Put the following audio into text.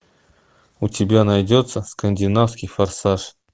у тебя найдется скандинавский форсаж